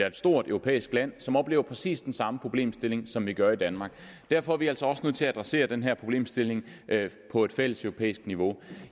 et stort europæisk land som oplever præcis den samme problemstilling som vi gør i danmark derfor er vi altså også nødt til at adressere den her problemstilling på et fælleseuropæisk niveau